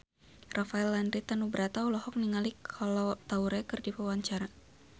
Rafael Landry Tanubrata olohok ningali Kolo Taure keur diwawancara